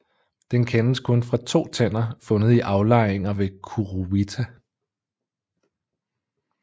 Den kendes kun fra to tænder fundet i aflejringer ved Kuruwita